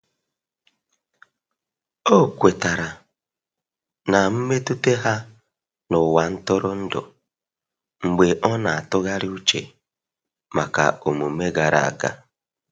Ọ kwetara na mmetụta ha n' ụwa ntụrụndụ, mgbe ọ na- atụgharị uche maka omume gara aga.